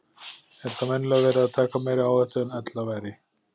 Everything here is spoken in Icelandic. Er þá venjulega verið að taka meiri áhættu en ella væri.